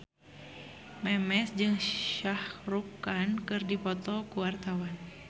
Memes jeung Shah Rukh Khan keur dipoto ku wartawan